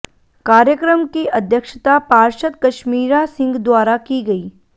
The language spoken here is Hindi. कार्यक्रम की अध्यक्षता पार्षद कशमीरा सिंह द्वारा की गई